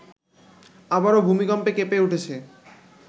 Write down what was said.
আবারো ভূমিকম্পে কেঁপে উঠেছে